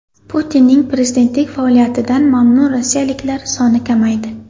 Putinning prezidentlik faoliyatidan mamnun rossiyaliklar soni kamaydi.